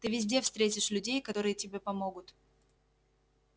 ты везде встретишь людей которые тебе помогут